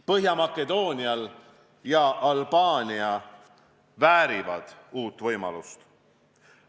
Põhja-Makedoonia ja Albaania väärivad uut võimalust.